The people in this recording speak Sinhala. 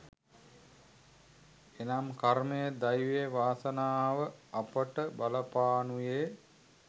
එනම් කර්මය දෛවය වාසනාව අපට බලපානුයේ